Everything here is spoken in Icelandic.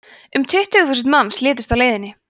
um tuttugu þúsund manns létust á leiðinni